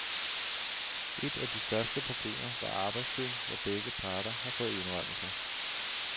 Et af de største problemer var arbejdstiden, hvor begge parter har fået indrømmelser.